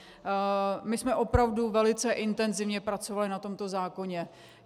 My jsme opravdu velice intenzivně pracovali na tomto zákoně.